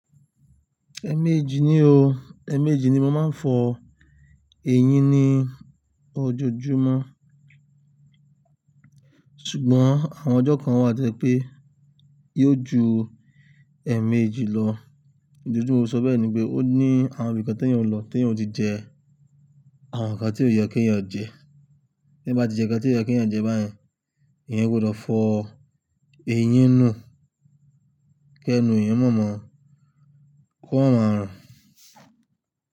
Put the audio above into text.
Ẹ̀ẹ̀mejì ni o, ẹ̀ẹ̀mejì ni mo máa ń fọ eyín ní ojoojúmọ́. Ṣùgbọ́n àwọn ọjọ́ kan wà te pé yóò ju ẹ̀ẹ̀mejì lọ. Ìdí ti mó fi sọ bẹ́ẹ̀ ní pé ó ní àwọn ìbí kan tí èèyàn ó lọ tí èèyàn ò tí jẹ, àwọn nǹkan tí ò yẹ kí èèyàn jẹ. Ní bá ti jẹ nǹkan tí ò yẹ kí èèyàn jẹ bayẹn, èèyàn gbọdọ̀ fọ eyín nú, kí ẹnu èèyàn má mọ, kó ma máa rùn.